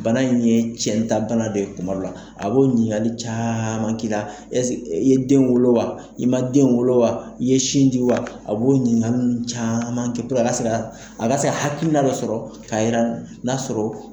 Bana in ye cɛntabana de ye kuma dɔ la, a b'o ɲiningali caman k'i la, ɛse i ye den wolo wa? I ma den wolo wa? i ye sin ji wa? A b'o ɲiningali ninnu caman kɛ puruke a ka se ka hakilina dɔ sɔrɔ, ka yira n'a sɔrɔ